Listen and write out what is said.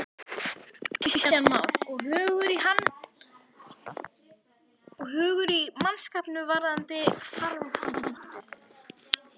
Kristján Már: Og hugur í mannskapnum varðandi framhaldið?